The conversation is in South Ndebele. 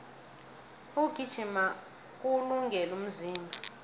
ukugijima kuwulungele umzimba